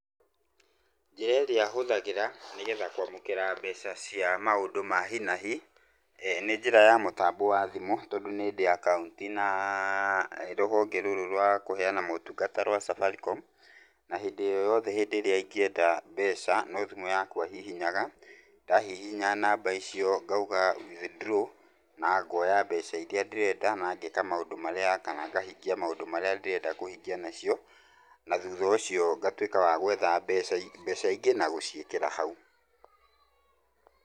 Njĩra ĩrĩa hũthagĩra nĩgetha kwamũkĩra mbeca cia maũndũ ma hi na hi, nĩ njĩra ya mũtambo wa thimũ tondũ nĩndĩ akaunti na rũhonge rũrũ rwa kũheana motungata rwa Safaricom, na hĩndĩ o yothehĩndĩ ĩrĩa ingĩenda mbeca, no thimũ yakwa hihinyaga, ndahihinya namba icio ngauga withdraw na ngoya mbeca iria ndĩrenda na ngeka maũndũ marĩa, kana ngahingia maũndũ marĩa ndĩrenda kũhingia nacio, na thutha ũcio ngatuĩka wa gwetha mbeca i mbeca ingĩ na gũciĩkĩra hau.